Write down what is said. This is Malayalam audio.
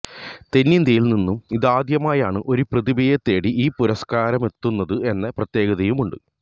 തെന്നിന്ത്യയില് നിന്നും ഇതാദ്യമായാണ് ഒരു പ്രതിഭയെ തേടി ഈ പുരസ്കാരമെത്തുന്നത് എന്ന പ്രത്യേകതയുമുണ്ട്